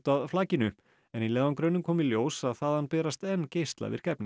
að flakinu í leiðangrinum kom í ljós að þaðan berast enn geislavirk efni